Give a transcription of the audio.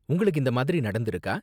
உங்களுக்கு இந்த மாதிரி நடந்திருக்கா?